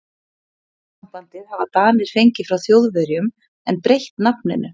Orðasambandið hafa Danir fengið frá Þjóðverjum en breytt nafninu.